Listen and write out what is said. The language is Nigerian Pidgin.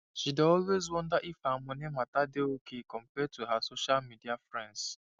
she dey always wonder if her moni matter dey okay compared to her social media friends